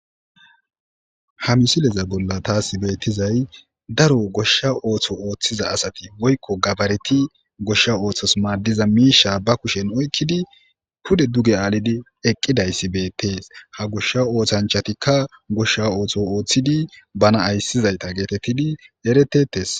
ha misileza bolla taas beettizay daro goshsha ooththo ooththiza asati woykko gabareti goshsha ooththos maaddiza miisha ba kushen oykkidi pude duge aalidi eqqidayssi beettees ha goshsha oothanchatikka goshsha ooththo ooththidi bana ayssizayta geetettidi eretetes